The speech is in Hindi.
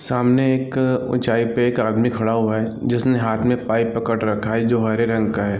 सामने एक उचाई पे एक आदमी खड़ा हुआ हैं जिसने हाथ में पाइप पकड़ रखा हैं जो हरे रंग का हैं।